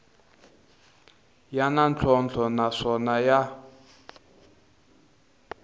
ya na ntlhontlho naswona ya